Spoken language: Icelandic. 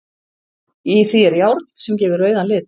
Í því er járn sem gefur rauðan lit.